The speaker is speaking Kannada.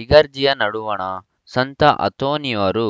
ಇಗರ್ಜಿಯ ನಡುವಣ ಸಂತ ಅಂತೋನಿಯವರ